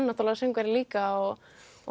náttúrulega söngvari líka og og